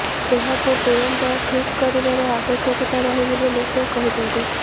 ଏହାକୁ ତୁରନ୍ତ ଠିକ୍ କରିବାର ଆବଶ୍ୟକତା ରହିଛି ବୋଲି ସେ କହିଛନ୍ତି